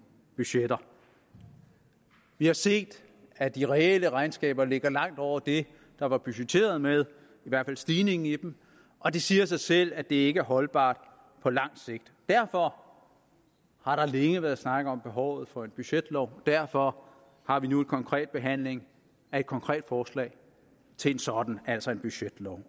budgetter vi har set at de reelle regnskaber ligger langt over det der var budgetteret med i hvert fald stigningen i dem og det siger sig selv at det ikke er holdbart på lang sigt derfor har der længe været snak om behovet for en budgetlov derfor har vi nu en konkret behandling af et konkret forslag til en sådan altså en budgetlov